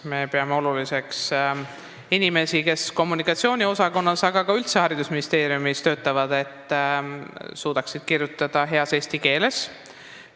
Me peame oluliseks, et kõik inimesed, kes kommunikatsiooniosakonnas ja üldse haridusministeeriumis töötavad, suudaksid kirjutada heas eesti keeles.